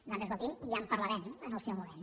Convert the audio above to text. doncs escolti’m ja en parlarem en el seu moment